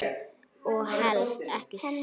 Og helst ekki selló.